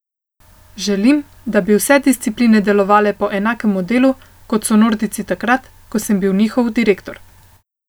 Želim, da bi vse discipline delovale po enakem modelu, kot so nordijci takrat, ko sem bil njihov direktor.